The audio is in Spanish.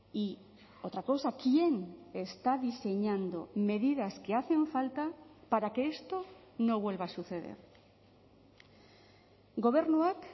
y otra cosa quién está diseñando medidas que hacen falta para que esto no vuelva a suceder gobernuak